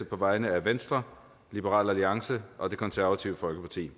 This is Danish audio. på vegne af venstre liberal alliance og det konservative folkeparti